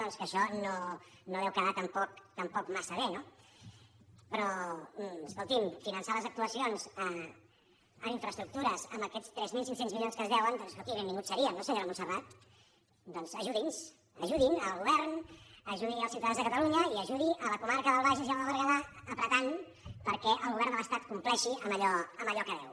doncs que això no deu quedar tampoc massa bé no però escolti’m finançar les ac·tuacions en infraestructures amb aquests tres mil cinc cents mili·ons que es deuen doncs escolti benvinguts serien no senyora montserrat doncs ajudi’ns ajudin el go·vern ajudi els ciutadans de catalunya i ajudi la co·marca del bages i la del berguedà apretant perquè el govern de l’estat compleixi amb allò que deu